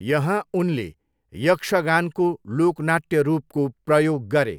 यहाँ उनले यक्षगानको लोकनाट्य रूपको प्रयोग गरे।